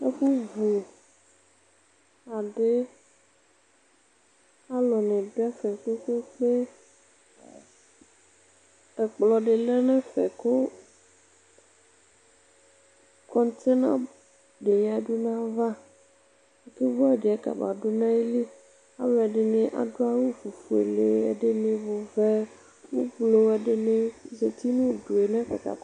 ɛfu vu adi alò ni du ɛfɛ kpe kpe kpe ɛkplɔ di lɛ n'ɛfɛ kò kɔntena di ya du n'ava ake vu adi yɛ ka ba du n'ayili alò ɛdini adu awu ofuele ɛdini ɔvɛ ublu ɛdini zati n'udue n'ɛfɛ k'aka.